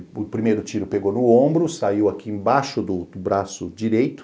O primeiro tiro pegou no ombro, saiu aqui embaixo do do braço direito,